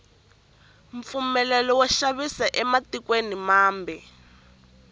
mpfumelelo wo xavisela ematikweni mambe